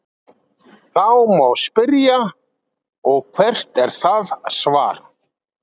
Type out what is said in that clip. Þá má spyrja: Og hvert er það svar?.